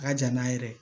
A ka jan n'a yɛrɛ ye dɛ